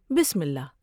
بسم اللہ ۔